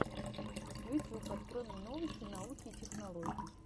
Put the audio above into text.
ютюб открой мне новости науки и технологий